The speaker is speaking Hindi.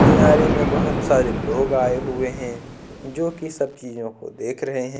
में बहुत सारे लोग आए हुए हैं जो कि सब्जियों को देख रहे हैं।